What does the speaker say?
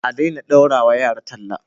adena daurawa yara talla